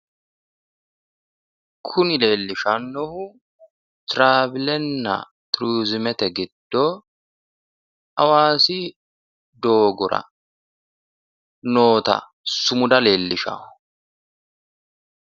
Kuni leellishannohu travilenna turizimete giddo hawaasi doogora noota sumuda leellishanno